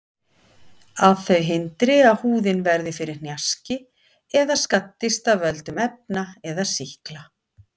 Að þau hindri að húðin verði fyrir hnjaski eða skaddist af völdum efna eða sýkla.